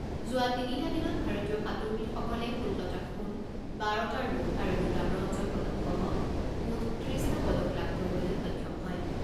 যোৱা তিনিটা দিনত ভাৰতীয় সাঁতোৰবিদসকলে ষোল্লটা সোণ, বাৰটা ৰূপ আৰু দুটা ব্ৰঞ্জৰ পদকসহ মুঠ ত্ৰিছটা পদক লাভ কৰিবলৈ সক্ষম হয়।